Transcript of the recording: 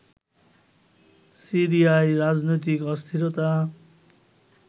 সিরিয়ায় রাজনৈতিক অস্থিরতা